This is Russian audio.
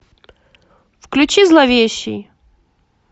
включи зловещий